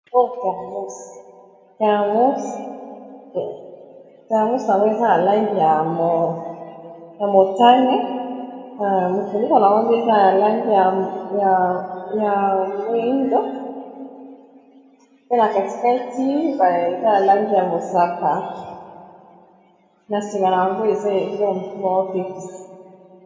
oyo thermus yango eza ya langi ya motane mofuniko nayango eza ya langi ya moindo pe na katikati nayango ya lange ya mosaka na nsima na yango eza elokomoko bazo tekisa